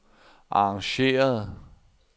arrangeret